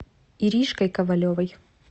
иришкой ковалевой